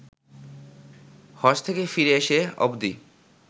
হজ্ব থেকে ফিরে এসে অবদি